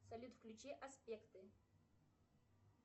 салют включи аспекты